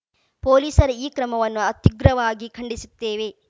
ಪೊಲೀಸರ ಈ ಕ್ರಮವನ್ನು ಅತ್ಯುಗ್ರವಾಗಿ ಖಂಡಿಸುತ್ತೇವೆ